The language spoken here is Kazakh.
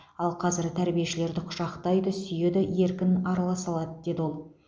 ал қазір тәрбиешілерді құшақтайды сүйеді еркін араласа алады деді ол